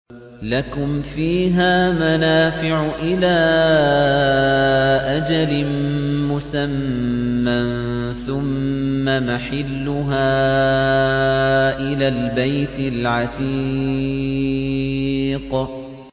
لَكُمْ فِيهَا مَنَافِعُ إِلَىٰ أَجَلٍ مُّسَمًّى ثُمَّ مَحِلُّهَا إِلَى الْبَيْتِ الْعَتِيقِ